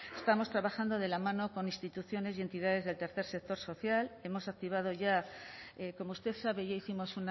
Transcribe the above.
estamos trabajando de la mano con instituciones y entidades del tercer sector social hemos activado ya como usted sabe ya hicimos